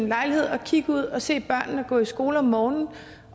lejlighed og kigge ud og se børnene gå i skole om morgenen